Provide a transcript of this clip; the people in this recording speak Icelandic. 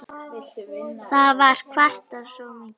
Það var kvartað svo mikið.